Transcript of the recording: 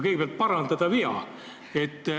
Kõigepealt tahan parandada viga.